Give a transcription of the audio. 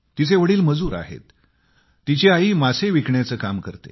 त्यांचे वडील मजूर आहेत तर आई मासे विकण्याचे काम करते